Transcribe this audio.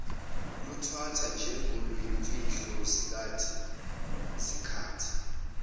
luthathwa njengoluyimfihlo zikhathi